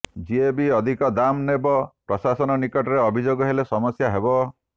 ଯିଏ ବି ଅଧିକ ଦାମ୍ ନେବ ପ୍ରଶାସନ ନିକଟରେ ଅଭିଯୋଗ ହେଲେ ସମସ୍ୟା ହେବ